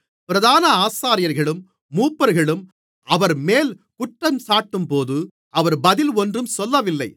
பிரதான ஆசாரியர்களும் மூப்பர்களும் அவர்மேல் குற்றஞ்சாட்டும்போது அவர் பதில் ஒன்றும் சொல்லவில்லை